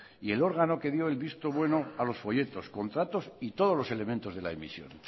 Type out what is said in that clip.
y el órgano que dio el visto bueno a los folletos contratos y todos los elementos de la emisión